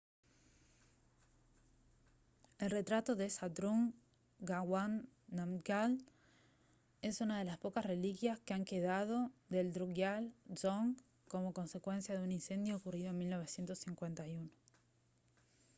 el retrato de zhabdrung ngawang namgyal es una de las pocas reliquias que han quedado del drukgyal dzong como consecuencia de un incendio ocurrido en 1951